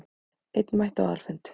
Einn mætti á aðalfund